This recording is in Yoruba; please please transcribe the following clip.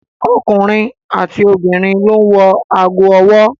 Ọkùnrin àti obìnrin ló ń wọ ago ọwọ́.